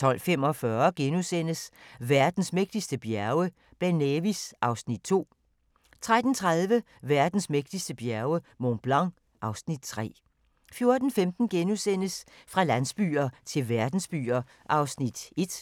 12:45: Verdens mægtigste bjerge: Ben Nevis (Afs. 2)* 13:30: Verdens mægtigste bjerge: Mont Blanc (Afs. 3) 14:15: Fra landsbyer til verdensbyer (1:4)*